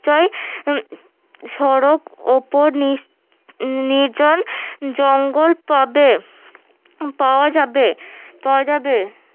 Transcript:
সড়ক উপর নির্জন জঙ্গল পাবে পাওয়া যাবে পাওয়া যাবে